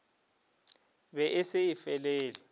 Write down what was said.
be e se e felelele